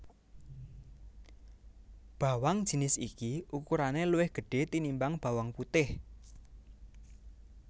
Bawang jinis iki ukurane luwih gedhe tinimbang bawang putih